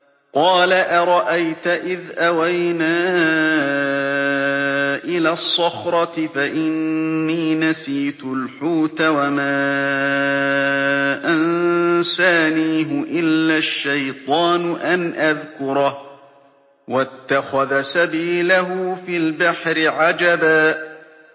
قَالَ أَرَأَيْتَ إِذْ أَوَيْنَا إِلَى الصَّخْرَةِ فَإِنِّي نَسِيتُ الْحُوتَ وَمَا أَنسَانِيهُ إِلَّا الشَّيْطَانُ أَنْ أَذْكُرَهُ ۚ وَاتَّخَذَ سَبِيلَهُ فِي الْبَحْرِ عَجَبًا